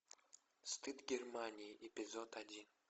стыд германии эпизод один